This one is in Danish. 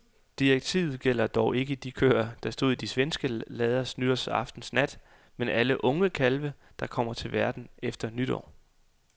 Direktivet gælder dog ikke de køer, der stod i de svenske lader nytårsaftens nat, men alle unge kalve, der kommer til verden efter midnat.